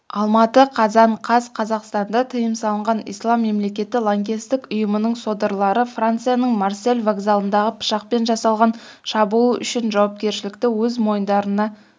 алматы қазан қаз қазақстанда тыйым салынған ислам мемлекеті лаңкестік ұйымының содырлары францияның марсель вокзалындағы пышақпен жасалған шабуыл үшін жауапкершілікті өз мойындарына